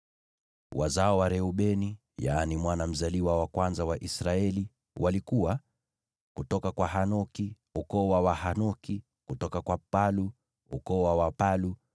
Wazao wa Reubeni, mwana mzaliwa wa kwanza wa Israeli, walikuwa: kutoka kwa Hanoki, ukoo wa Wahanoki; kutoka kwa Palu, ukoo wa Wapalu;